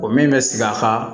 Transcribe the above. O min bɛ sigi a kan